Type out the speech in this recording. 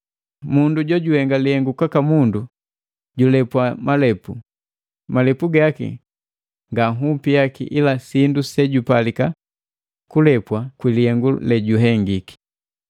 Mundu jojuhenga lihengu kwaka mundu julepwa malepu, malepu gaki nga nhupi yake ila sindu sejupalika kulepwa kwi lihengu lejuhengiki.